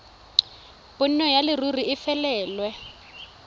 bonno ya leruri e felelwe